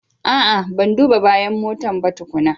A'a! Ban duba bayan motan ba tukuna.